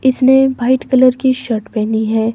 इसने white colour की shirt पहनी है।